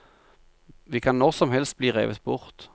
Vi kan når som helst bli revet bort.